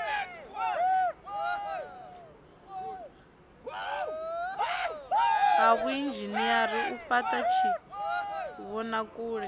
ha vhuinzhinere u fhata tshivhonakule